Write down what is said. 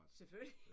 Selvfølgelig